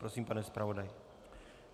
Prosím, pane zpravodaji.